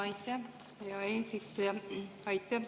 Aitäh, hea eesistuja!